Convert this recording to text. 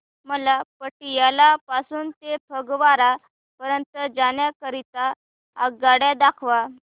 मला पटियाला पासून ते फगवारा पर्यंत जाण्या करीता आगगाड्या दाखवा